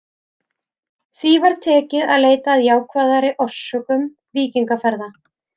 Því var tekið að leita að jákvæðari orsökum víkingaferða.